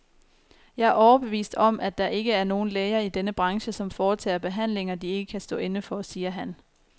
Jeg er overbevist om, at der ikke er nogen læger i denne branche, som foretager behandlinger, de ikke kan stå inde for, siger han.